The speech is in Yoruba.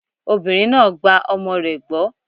Obìnrin náà gba ọmọ rẹ̀ gbọ́.